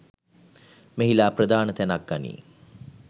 මෙහිලා ප්‍රධාන තැනක් ගනියි.